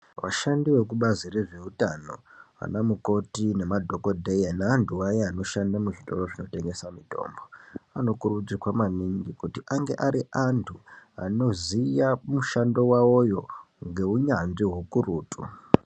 Vashandi vekubazi rezveutano, vana mukoti nemadhokodheya neantu aya anoshande muzvitoro zvinotengesa mutombo, ano kurudzirwa maningi kuti ange ari antu anoziya mushando wawoyo ngeunyanzvi hukurutu.